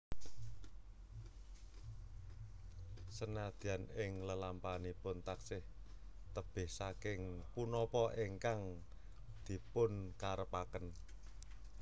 Sanadyan ing lelampahanipun taksih tebih saking punapa ingkang dipunkarepaken